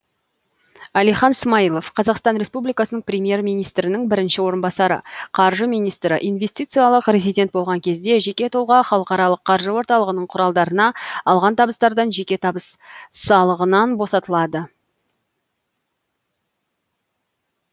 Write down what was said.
әлихан смайылов қазақстан республикасының премьер министрінің бірінші орынбасары қаржы министрі инвестициялық резидент болған кезде жеке тұлға халықаралық қаржы орталығының құралдарына алған табыстардан жеке табыс салығынан босатылады